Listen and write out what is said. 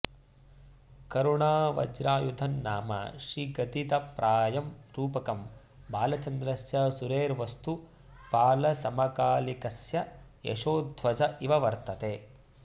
करुणावज्रायुधं नाम श्रीगदितप्रायं रूपकं बालचन्द्रस्य सुरेर्वस्तुपालसमकालिकस्य यशोध्वज इव वर्तते